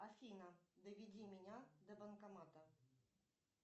афина доведи меня до банкомата